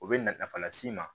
U bɛ na nafa las'i ma